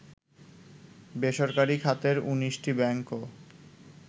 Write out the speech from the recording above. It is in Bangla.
বেসরকারি খাতের ১৯টি ব্যাংকও